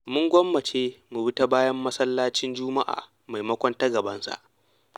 Mun gwammace mu bi ta bayan masallacin juma'a maimakon ta gabansa.